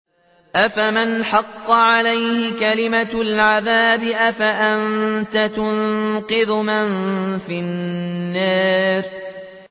أَفَمَنْ حَقَّ عَلَيْهِ كَلِمَةُ الْعَذَابِ أَفَأَنتَ تُنقِذُ مَن فِي النَّارِ